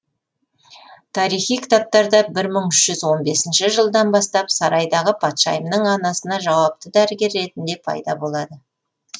тарихи кітаптарда бір мың үш жүз он бесінші жылдан бастап сарайдағы патшайымның анасына жауапты дәрігер ретінде пайда болады